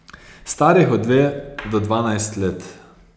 Starih od dve do dvanajst let.